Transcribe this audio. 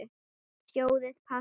Sjóðið pasta.